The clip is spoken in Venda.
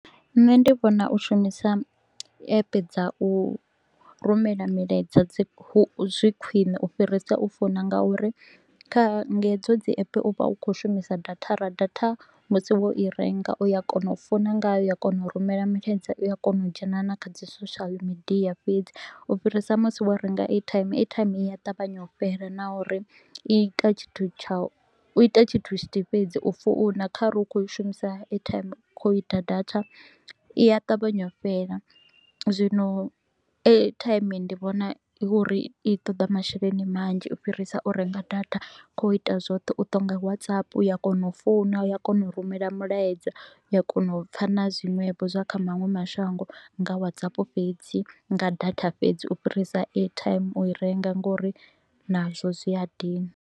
Nṋe ndi vhona u shumisa app dza u rumela milaedza dzi zwi khwiṋe u fhirisa u founa nga uri kha nga hedzo dzi app u vha u kho u shumisa dzidatha. Ra datha musi wo i renga u ya kona u founa ngayo, u a kona u rumela milaedza, u a kona u dzhena na kha dzi social media fhedzi u fhirisa musi wo renga airtime, airtime i a ṱavhanya u fhela na uri i ita tshithu tshithihi fhedzi, u founa kha re u kho i shumisa airtime kha u ita data i a ṱavhanya u fhela. Zwino airtime ndi vhona uri i toḓa masheleni manzhi u fhirisa u renga data kha u ita zwoṱhe, u to u nga WhatsApp, u a kona u founa, u a kona u rumela mulaedza, u a kona u pfa na zwiṅwevho zwa kha maṅwe mashango nga WhatsApp fhedzi, nga data fhedzi u fhirisa airtime u i renga nga uri nazwo zwi a dina.